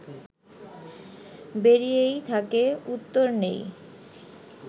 বেরিয়েই থাকে, উত্তর নেই